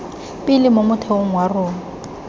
pele mo motheong wa rona